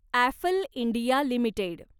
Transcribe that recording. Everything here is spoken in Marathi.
Affle India limited